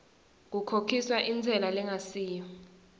kukhokhiswa intsela lengasiyo